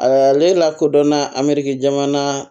A ale lakodɔnna amiri jamana